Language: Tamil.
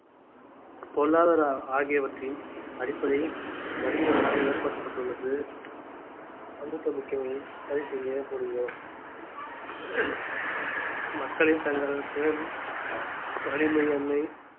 பொருளாதார ஆகியவற்றின் அடிப்படையில் மனிதர்களால் ஏற்படுத்தப்பட்டுள்ளது சமூகமிக்கவையை சரி செய்ய முடியும் மக்களின் தங்கள் திறன் வலிமை என்னை